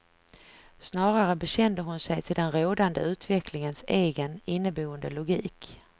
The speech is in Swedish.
Snarare bekände hon sig till den rådande utvecklingens egen, inneboende logik.